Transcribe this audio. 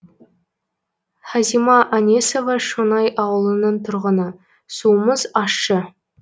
хазима әнесова шоңай ауылының тұрғыны суымыз ащы